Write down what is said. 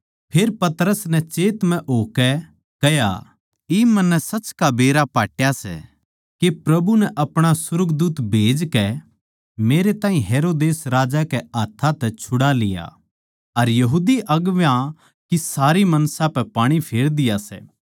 फेर पतरस नै चेत म्ह होकै कह्या इब मन्नै सच का बेरा पटया सै के प्रभु नै अपणा सुर्गदूत खन्दाकै मेरै ताहीं हेरोदेस राजा के हाथ्थां तै छुड़ा लिया अर यहूदी अगुवां की सारी मनसा पै पाणी फेर दिया सै